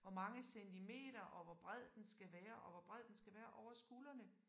Hvor mange centimeter og hvor bred den skal være og hvor bred den skal være over skuldrene